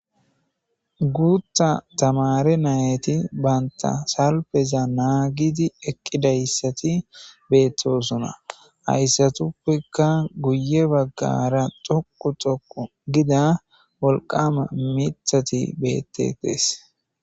Guutha tamare nayeti banta salpeza naagidi eqqidayssati beettosuna hayssatuppekka guye baggara xoku xoku gida wolqama mithati bette dees